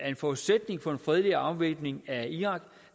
en forudsætning for en fredelig afvæbning af irak